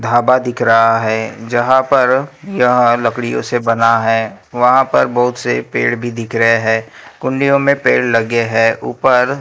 ढाबा दिख रहा है जहां पर यह लकड़ियों से बना है वहां पर बहुत से पेड़ भी दिख रहे है कुंडियो मे पेड़ लगे है ऊपर --